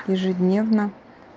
ежедневно